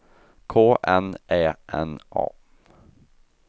K N Ä N A